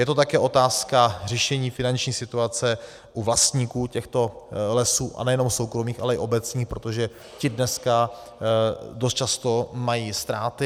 Je to také otázka řešení finanční situace u vlastníků těchto lesů, a nejenom soukromých, ale i obecních, protože ti dneska dost často mají ztráty.